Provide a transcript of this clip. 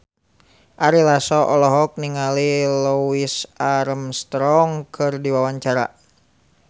Ari Lasso olohok ningali Louis Armstrong keur diwawancara